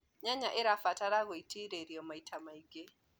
nyanya irabatara gũitiririo maĩta maĩngi